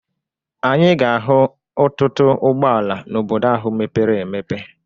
Anyị ga-ahụ ọtụtụ ụgbọala na Obodo ahụ mepere emepe.